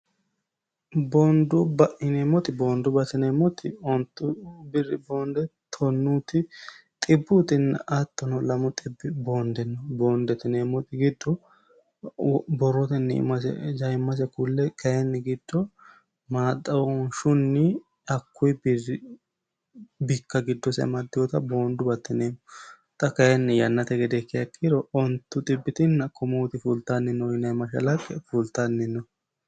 boondu ba'ineemoti boondu batineemmoti ontu birrifoonde tonnuti xibbuuinni attono lam xi boonde no boonde tineemmot giddo borrootnni imjaimmase kulle kayinni giddo maxaonshunni hakkuyi birri bikka giddosemaddiwota boondu batteneemmoxa kayinni yannate gede kkeekkiiro ontu xibbitinna komuoti fuultanni noinema shalaqe fultanni no